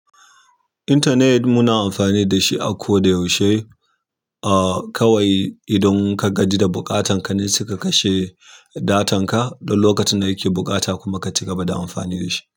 Internet muna amfani da shi a ko da yaushe. A kawai idan ka gaji da buƙatan ka ne sai ka kashe datan ka. Duk lokacin da kake buƙata kuma ka ci gaba da amfani da shi.